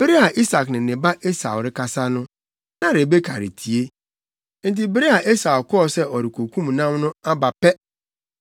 Bere a Isak ne ne ba Esau rekasa no, na Rebeka retie. Enti bere a Esau kɔɔ sɛ ɔrekokum nam no aba pɛ, na